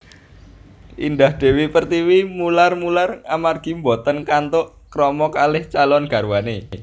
Indah Dewi Pertiwi mular mular amargi mboten kantuk krama kalih calon garwane